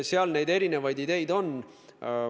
Seal neid erinevaid ideid on.